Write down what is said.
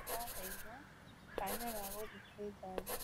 Maraheirwo kaanya ga gũthiĩ kwĩ jaji